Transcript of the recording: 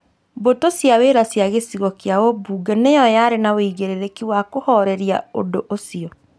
Mbũtũ cia wĩra cia gĩcigo kĩa ũmbunge nĩyo yarĩ na wĩigĩrĩrĩki wa kũhoreria ũndũ ũcio